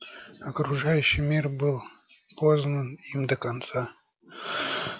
окружающий мир был познан им до конца